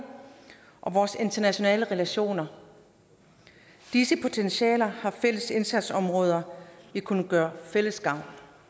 og vores internationale relationer disse potentialer har fælles indsatsområder vi kunne gøre fælles gavn